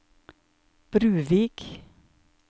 Bruvik